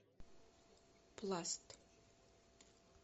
пласт